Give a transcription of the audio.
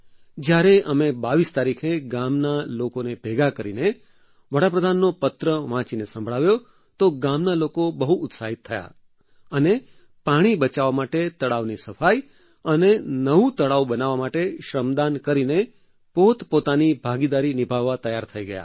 જ્યારે અમે 22 તારીખે ગામના લોકોને ભેગા કરીને વડાપ્રધાનનો પત્ર વાંચીને સંભળાવ્યો તો ગામના લોકો બહુ ઉત્સાહિત થયા અને પાણી બચાવવા માટે તળાવની સફાઈ અને નવું તળાવ બનાવવા માટે શ્રમદાન કરીને પોતપોતાની ભાગીદારી નિભાવવા તૈયાર થઈ ગયા